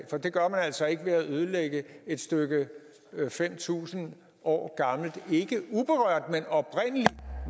for det gør man altså ikke ved at ødelægge et stykke fem tusind år gammel ikke uberørt men oprindelig